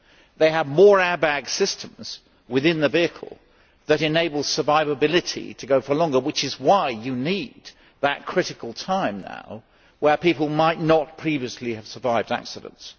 They have more airbag systems within the vehicle that enable survivability for longer, which is why you need that critical time now where people might not previously have survived accidents.